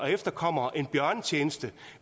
efterkommere en bjørnetjeneste